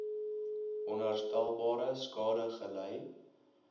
onherstelbare skade gely